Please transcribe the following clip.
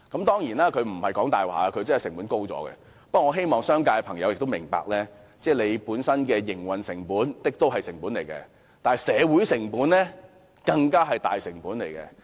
當然，他沒有說謊，成本真的高了，但我希望商界朋友明白，他們本身的營運成本是一種成本，但社會成本卻是更大的成本。